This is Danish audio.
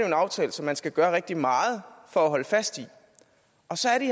en aftale som man skal gøre rigtig meget for at holde fast i og så